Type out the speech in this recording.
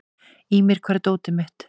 Ýmir, hvar er dótið mitt?